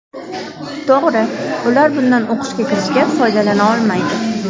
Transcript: To‘g‘ri, ular bundan o‘qishga kirishga foydalana olmaydi.